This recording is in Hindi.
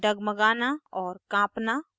डगमगाना और काँपना